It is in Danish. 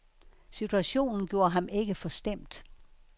Situationen gjorde ham ikke forstemt.